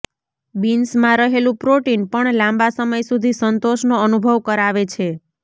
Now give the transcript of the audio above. બીન્સમાં રહેલું પ્રોટીન પણ લાંબા સમય સુધી સંતોષનો અનુભવ કરાવે છે